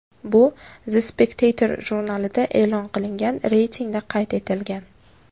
Bu The Spectator jurnalida e’lon qilingan reytingda qayd etilgan .